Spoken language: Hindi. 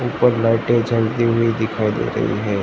ऊपर लाइटें जलती हुई दिखाई दे रही है।